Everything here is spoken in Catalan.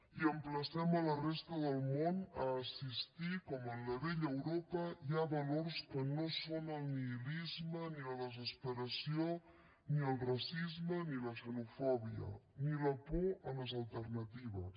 i emplacem la resta del món a assistir com en la vella europa hi ha valors que no són ni el nihilisme ni la desesperació ni el racisme ni la xenofòbia ni la por a les alternatives